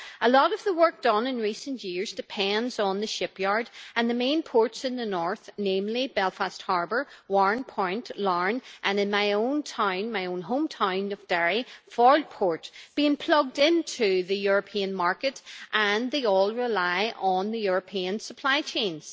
A lot of the work done in recent years depends on the shipyard and the main ports in the north, namely Belfast Harbour, Warren Point, Larne and, in my home town of Derry, Foyle port, being plugged into the European market, and they all rely on the European supply chains.